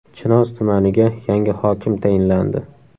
Chinoz tumaniga yangi hokim tayinlandi.